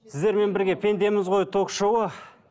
сіздермен бірге пендеміз ғой ток шоуы